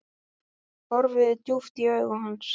Horfi djúpt í augu hans.